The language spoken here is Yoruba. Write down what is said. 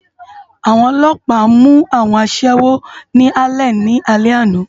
Awòn òlòpá mú áwòn aṣèwó ni Álèn ni álè àná